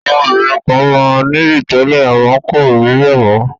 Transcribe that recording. Àwọn obìnrin kan máa ń nìyí tẹ́lẹ̀ àmọ́ kò ríbẹ̀ mọ